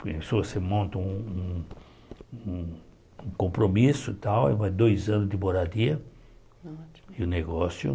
Pensou você monta um um um um compromisso e tal, e vai dois anos de moradia e o negócio.